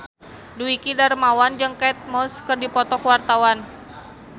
Dwiki Darmawan jeung Kate Moss keur dipoto ku wartawan